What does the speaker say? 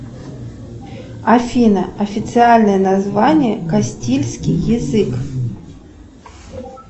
афина официальное название кастильский язык